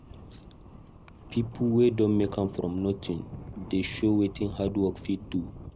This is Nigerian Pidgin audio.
Pipo wey don make am from nothing dey show wetin hard work fit do.